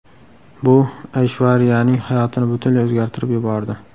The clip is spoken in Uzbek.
Bu Ayshvariyaning hayotini butunlay o‘zgartirib yubordi.